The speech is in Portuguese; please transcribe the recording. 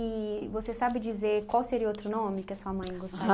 E você sabe dizer qual seria outro nome que a sua mãe gostaria?